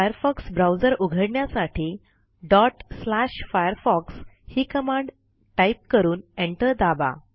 Firefox browser उघडण्यासाठी firefox ही command type करून एंटर दाबा